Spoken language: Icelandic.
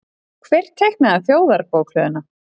Hver teiknaði Þjóðarbókhlöðuna?